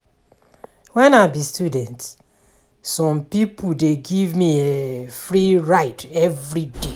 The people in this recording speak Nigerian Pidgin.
Wen I be student, some pipo dey give me free ride everyday.